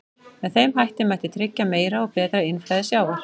Með þeim hætti mætti tryggja meira og betra innflæði sjávar.